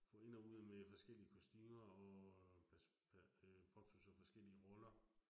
For ind og ud med forskellige kostumer, og øh påtog sig forskellige roller